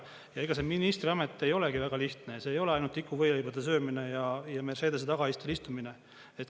Ja ega see ministriamet ei olegi väga lihtne, see ei ole ainult tikuvõileibade söömine ja Mercedese tagaistmel istumine.